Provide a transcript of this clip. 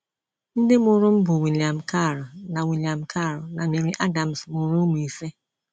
Ndị mụrụ m bụ William Karl na William Karl na Mary Adams mụrụ ụmụ ise.